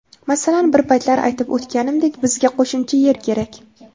Masalan, bir paytlar aytib o‘tganimdek, bizga qo‘shimcha yer kerak.